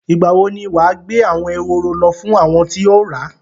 Ìgbà wo ni wà á gbé àwọn ehoro lọ fún àwọn tí o ra?